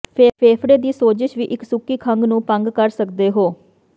ਫੇਫੜੇ ਦੀ ਸੋਜ਼ਸ਼ ਵੀ ਇੱਕ ਸੁੱਕੀ ਖੰਘ ਨੂੰ ਭੰਗ ਕਰ ਸਕਦੇ ਹੋ